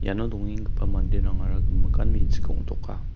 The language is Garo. iano dongengagipa manderangara gimikan me·chik ong·toka.